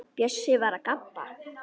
Bjössi var að gabba.